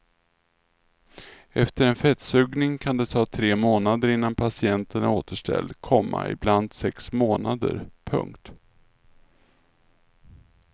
Efter en fettsugning kan det ta tre månader innan patienten är återställd, komma ibland sex månader. punkt